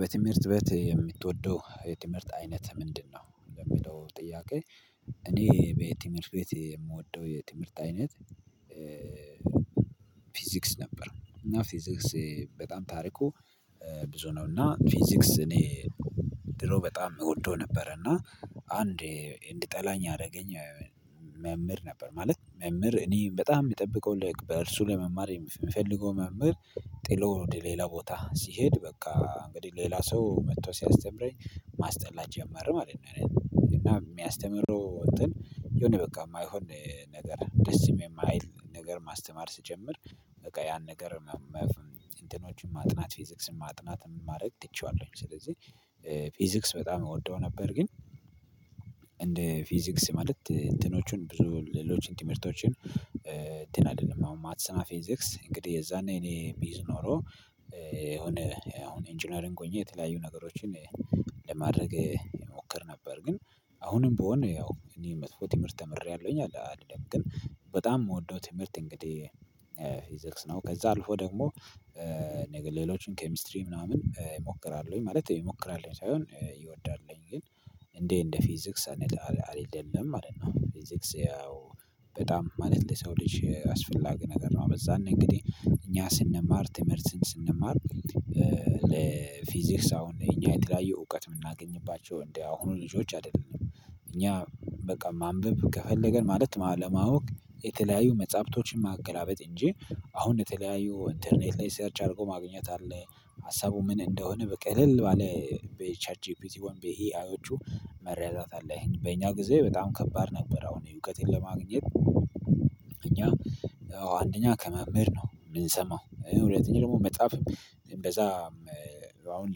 በትምህርት ቤት የምትወደው የትምህርት አይነት ምንድነው? ለምለው ጥያቄ። እኔ በትምህርት ቤት የምወደው የትምህርት አይነት ፊዚክስ ነበር። እና ፊዚክስ በጣም ታሪኩ ብዙ ነው። እና ፊዚክስ እኔ ድሮ በጣም እወደው ነበር። እና አንዴ እንዲጠላኝ ያደረገኝ። መምህር ነበር ማለት መምህር እኔ በጣም የሚጠብቀው ለእርሱ ለመማር የምፈልገው መምህር ጥሎ ወደ ሌላ ቦታ ሲሄድ በቃ እንግዲህ ሌላ ሰው መጥቶ ሲያስተምረኝ። ማስጠላት ጀመረ ማለት ነው። እና የሚያስተምረው እንትን የሆነ በቃ የማይሆን ነገር ደስ የማይል ነገር ማስተማር ስጀምር በቃ ያን ነገር። እንትኖችን ማጥናት ፊዚክስን ማጥናት ማድረግ ትቼዋለሁኝ። ስለዚህ ፊዚክስ በጣም እወደው ነበር። ግን እንደ ፊዚክስ ማለት እንትኖቹን ብዙ ሌሎችን ትምህርቶችን እንትን አይደለም አሁን ማትሰና ፊዚክስ እንግዲህ የዛኔ እኔ ብይዝ ኖሮ። የሆነ አሁን ኢንጂነሪንግ ሆኜ የተለያዩ ነገሮችን ለማድረግ እሞክር ነበር። ግን አሁንም ብሆን ያው እኔ መጥፎ ትምህርት ተምሬያለሁኝ አልልም። ግን በጣም የምወደው ትምህርት እንግዲህ ፊዚክስ ነው። ከዛ አልፎ ደግሞ ሌሎችን ኬሚስትሪ ምናምን ሞክራለሁኝ ማለት ሞክራለሁኝ ሳይሆን ይወዳልኝ ግን እንዴ እንደ ፊዚክስ አይደለም ማለት ነው። ፊዚክስ በጣም ማለት ለሰው ልጅ አስፈላጊ ነገር ነው። በዛነእንግዲህ እኛ ስንማር ትምህርትን ስንማር ለፊዚክስ አሁን እኛ የተለያየ እውቀት የምናገኝባቸው እንደ አሁኑ ልጆች አይደለም። እኛ በቃ ማንበብ ከፈለገን ማለት ለማወቅ የተለያዩ መጽሐፍቶችን ማገላበጥ እንጂ አሁን የተለያዩ ኢንተርኔት ላይ ሰርች አድርጎ ማግኘት አለ። ሀሳቡ ምን እንደሆነ በቃ እልል ባለ በኤቻት ጂፒቲ ወይም በኤ አይዮቹ መረዳት አለ። በእኛ ጊዜ በጣም ከባድ ነበር አሁን እውቀትን ለማግኘት። እኛ አንደኛ ከመምህር ነው የምንሰማው ሁለተኛ ደግሞ መጽሐፍ እንደዛ አሁን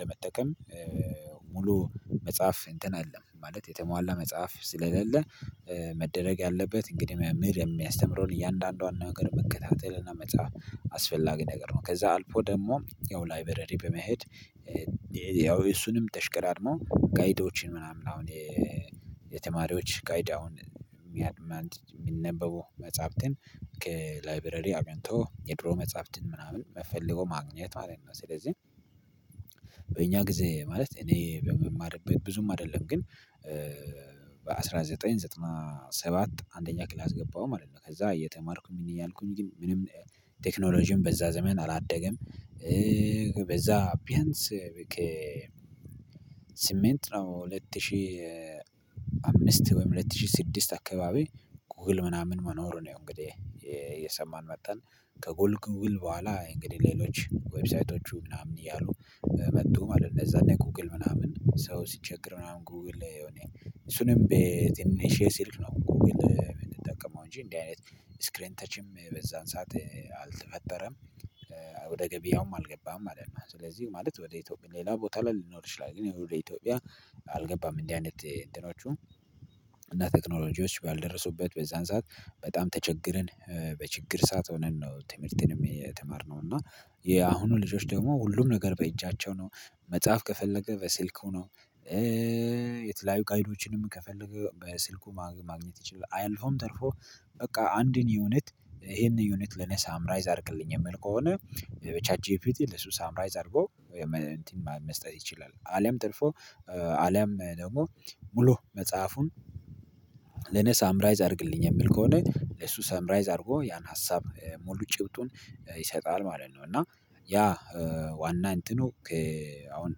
ለመጠቀም። ሙሉ መጽሐፍ እንትን አይደለም ማለት የተሟላ መጽሐፍ ስለሌለ መደረግ ያለበት እንግዲህ ምህር የሚያስተምረውን እያንዳንዷን ነገር መከታተል እና መጽሐፍ አስፈላጊ ነገር ነው። ከዛ አልፎ ደግሞ ያው ላይበረሪ በመሄድ ያው እሱንም ተሽቀዳድሞ ጋይዶችን ምናምን አሁን የተማሪዎች ጋይድ አሁን የሚነበበው መጽሐፍትን ከላይብረሪ አግኝቶ የድሮ መጽሐፍትን ምናምን ፈልጎ ማግኘት ማለት ነው። ስለዚህ በእኛ ጊዜ ማለት እኔ በምማርበት ብዙም አይደለም ግን በአንድ ሺህ ዘጠኝ መቶ ዘጠና ሰባት አንደኛ ክላስ ገባሁ ማለት ነው። ከዛ እየተማርኩኝ ያልኩኝ ግን ምንም ቴክኖሎጂን በዛ ዘመን አላደገም። በዛ ቢያንስ በቃ ስምንት ነው ሁለት ሺህ አምስት ወይም ሁለት ሺህ ስድስት አካባቢ ጎግል ምናምን መኖሩ ነው። እንግዲህ እየሰማን መጣን። ከጉል ጉግል በኋላ እንግዲህ ሌሎች ዌብሳይቶቹ ምናምን እያሉ መጡ ማለት እነዛ እኔ ጉግል ምናምን ሰው ሲቸግር ምናምን ጉግል የሆነ እሱንም በትንሽ ስልክ ነው እኮ። የምንጠቀመው እንጂ እንዲህ አይነት ስክሪን ተችም በዛን ሰዓት አልተፈጠረም። ወደ ገቢያውም አልገባም ማለት ነው። ስለዚህ ማለት ወደ ኢትዮጵያ ሌላ ቦታ ላይ ሊኖር ይችላል ግን ይሄ ሁሉ ኢትዮጵያ አልገባም። እንዲህ አይነት እንትኖቹ እና ቴክኖሎጂዎች ባልደረሱበት በዛን ሰዓት በጣም ተቸግረን በችግር ሰዓት ሆነን ነው። ትምህርትን የተመርነው እና የአሁኑ ልጆች ደግሞ ሁሉም ነገር በእጃቸው ነው። መጽሐፍ ከፈለገ በስልኩ ነው የተለያዩ ካይዶችንም ከፈለገ በስልኩ ማግኘት ይችላል። አልፎም ተርፎ በቃ አንድን ዩኒት ይሄንን ዩኒት ልነሳ ሳምራይዝ አድርግልኝ የምል ከሆነ በቻት ጅፒቲ ለሱ ሳምራይዝ አድርጎ እንትን መስጠት ይችላል። አሊያም ጥልፎ አሊያም ደግሞ ሙሉ መጽሐፉን ለኔ ሳምራይዝ አድርግልኝ የምል ከሆነ ለሱ ሰምራይዝ አድርጎ ያን ሀሳብ ሙሉ ጭብጡን ይሰጣል። ማለት ነው። እና ያ ዋና እንትኑ አሁን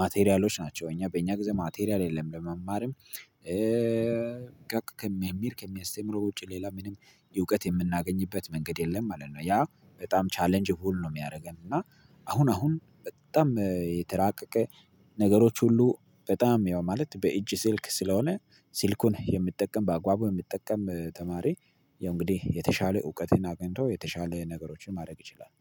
ማቴሪያሎች ናቸው። እኛ በእኛ ጊዜ ማቴሪያል የለም። ለመማርም በቃ ከሚል ከሚያስተምረው ውጪ ሌላ ምንም የእውቀት የምናገኝበት መንገድ የለም ማለት ነው። ያ በጣም ቻሌንጅ ፉል ነው። የሚያደርገን እና አሁን አሁን በጣም የተራቀቀ ነገሮች ሁሉ በጣም ያው ማለት በእጅ ስልክ ስለሆነ ስልኩን የምጠቀም ባጓጉ የምጠቀም ተማሪ ያው እንግዲህ የተሻለ እውቀትን አግኝቶ የተሻለ ነገሮችን ማድረግ ይችላል